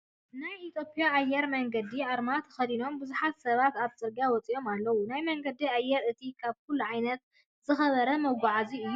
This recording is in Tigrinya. ናይ ኢትዮጰያ ኣየር መንገዲ ኣርማ ተከዲኖም ብዙሓት ሰባት ኣበ ፅርግያ ወፂኦም ኣለው። ናይ መንገዲ ኣየር እቲ ካብ ኩሉ ዓይነት ዝከበረ ሞጉዓዝያ እዩ።